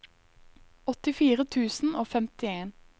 åttifire tusen og femtien